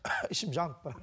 ішім жанып барады